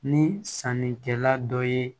Ni sannikɛla dɔ ye